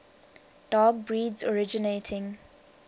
dog breeds originating